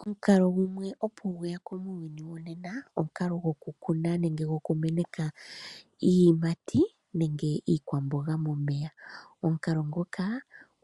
Omukalo gumwe opo gweya ko muuyuni wonena, omukalo goku kuna nenge goku meneka iiyimati nenge iikwamboga momeya. Omukalo nguka,